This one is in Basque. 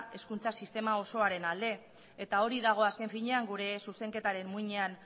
hezkuntza sistema osoaren alde eta hori dago azken finean gure zuzenketaren muinean